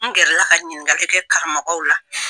N gɛrala ka ɲininkalikɛ karamɔgɔ la